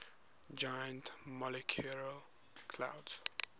giant molecular clouds